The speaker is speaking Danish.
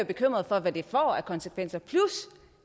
bekymret for hvad det får af konsekvenser plus